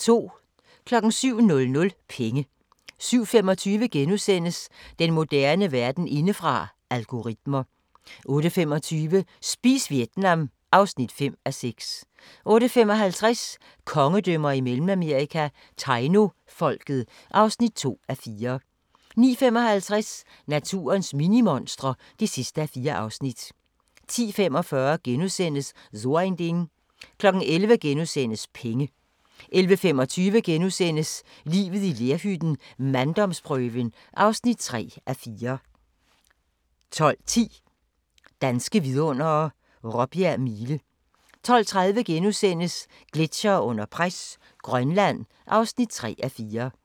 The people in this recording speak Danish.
07:00: Penge 07:25: Den moderne verden indefra: Algoritmer * 08:25: Spis Vietnam (5:6) 08:55: Kongedømmer i Mellemamerika – Tainofolket (2:4) 09:55: Naturens minimonstre (4:4) 10:45: So ein Ding * 11:00: Penge * 11:25: Livet i lerhytten - manddomsprøven (3:4)* 12:10: Danske Vidundere: Råbjerg Mile 12:30: Gletsjere under pres – Grønland (3:4)*